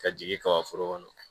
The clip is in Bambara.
Ka jigin ka foro kɔnɔ